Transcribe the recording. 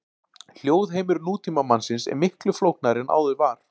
Hljóðheimur nútímamannsins er miklu flóknari en áður var.